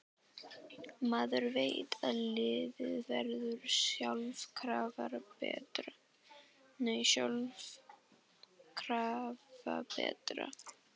Maður veit að liðið verður sjálfkrafa betra.